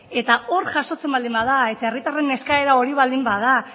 eta hor jasotzen baldin bada eta herritarren eskaera hori baldin bada